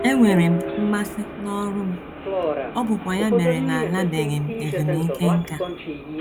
Enwere m mmasị n’ọrụ m, ọ bụkwa ya mere na alabeghị m ezumike nká. ”